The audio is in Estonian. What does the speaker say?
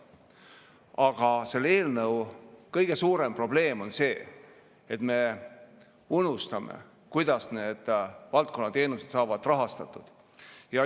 Aga selle eelnõu kõige suurem probleem on see, et me unustame, kuidas need teenused rahastatud saavad.